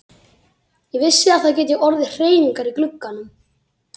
Ég vissi að það gætu orðið hreyfingar í glugganum.